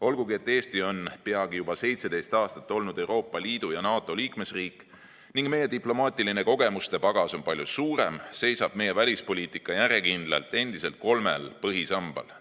Olgugi et Eesti on peagi juba 17 aastat olnud Euroopa Liidu ja NATO liikmesriik ning meie diplomaatiline kogemustepagas on palju suurem, seisab meie välispoliitika järjekindlalt endiselt kolmel põhisambal.